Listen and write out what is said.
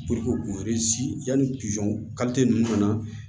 k'u yanni ninnu na